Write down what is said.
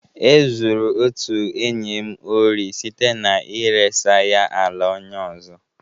E zuru otu enyi m ori site na iresa ya ala onye ọzọ.